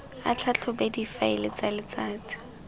a tlhatlhobe difaele tsa letsatsi